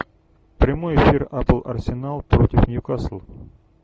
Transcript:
прямой эфир апл арсенал против ньюкасл